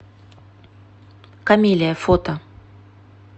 камелия фото